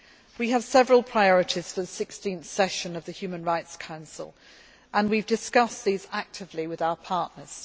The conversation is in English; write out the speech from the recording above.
We have several priorities for the 16th session of the Human Rights Council and we have discussed these actively with our partners.